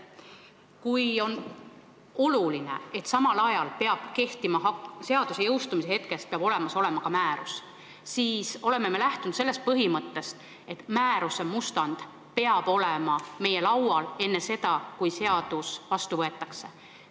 Kui on oluline, et seaduse jõustumise hetkest peab olemas olema ka määrus, siis me oleme lähtunud sellest põhimõttest, et määruse mustand peab olema meie laual enne seda, kui seadus vastu võetakse.